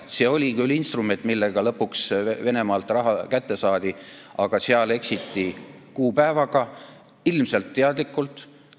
See oli küll instrument, millega lõpuks Venemaalt raha kätte saadi, aga seal eksiti kuupäevaga, ilmselt teadlikult.